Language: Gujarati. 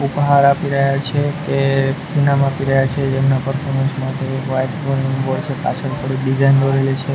ઉપહાર આપી રહ્યા છે કે ઇનામ આપી રહ્યા છે જેમના પગ કને વાઈટ બોર્ડ છે પાછળ થોડીક ડિઝાઇન દોરેલી છે.